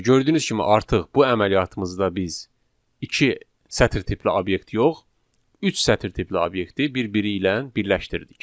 Bəli, gördüyünüz kimi artıq bu əməliyyatımızda biz iki sətr tipli obyekt yox, üç sətr tipli obyekti bir-biri ilə birləşdirdik.